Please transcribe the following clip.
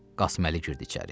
Qasıməli girdi içəri.